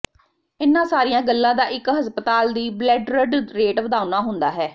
ਇਨ੍ਹਾਂ ਸਾਰੀਆਂ ਗੱਲਾਂ ਦਾ ਇੱਕ ਹਸਪਤਾਲ ਦੀ ਬਲੈਡਰਡ ਰੇਟ ਵਧਾਉਣਾ ਹੁੰਦਾ ਹੈ